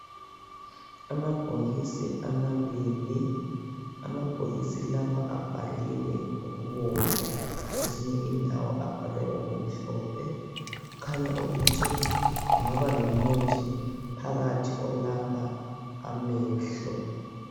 Amabhokisi amabili, amabhokisi lawa abhaliwe ngokubomvu kwezinye indawo abhalwe ngokumhlophe. Kukhanya ukuthi kungaba lomuthi phakathi olapha amehlo.